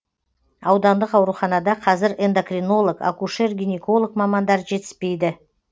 аудандық ауруханада қазір эндокринолог акушер гинеколог мамандар жетіспейді